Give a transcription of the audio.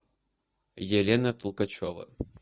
елена толкачева